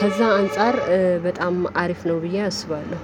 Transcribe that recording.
ከዛ አንፃር በጣም አሪፍ ነው ብዬ አስባለሁ